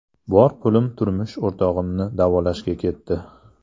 Bor pulim turmush o‘rtog‘imni davolashga ketdi.